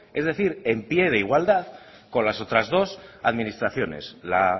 es decir en pie de igualdad con las otras dos administraciones la